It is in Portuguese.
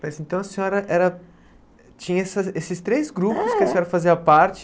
Mas então a senhora era tinha essa esses três grupos que a senhora fazia parte.